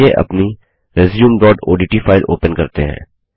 चलिए अपनी resumeओडीटी फाइल ओपन करते हैं